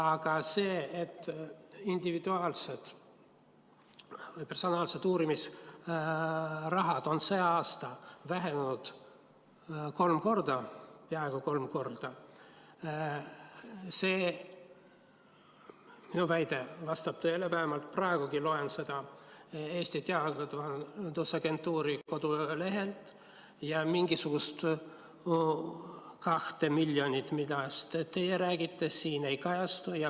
Aga individuaalsed professionaalsed uurimisrahad on sel aastal vähenenud kolm korda, peaaegu kolm korda – see minu väide vastab tõele, vähemalt loen seda praegugi Eesti Teadusagentuuri kodulehelt –, ja mingisugust 2 miljonit, millest teie räägite, siin ei kajastu.